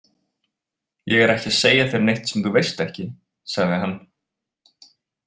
Ég er ekki að segja þér neitt sem þú veist ekki, sagði hann.